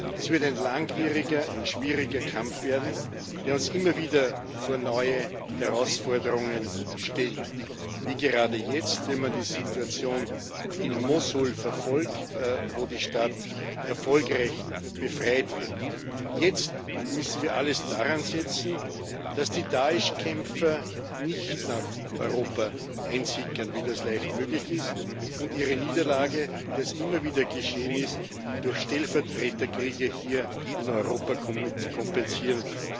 Es wird ein langwieriger, ein schwieriger Kampf werden, der uns immer wieder vor neue Herausforderungen stellt, wie gerade jetzt, wenn man die Situation in Mossul verfolgt, wo die Stadt erfolgreich befreit wird. Jetzt müssen wir alles daran setzen, dass die Da´esh Kämpfer nicht nach Europa einsickern, wie das leicht möglich ist, und ihre Niederlage, wie das immer wieder geschehen ist, durch Stellvertreterkriege hier in Europa kompensieren.